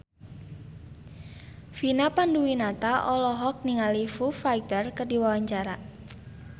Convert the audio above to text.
Vina Panduwinata olohok ningali Foo Fighter keur diwawancara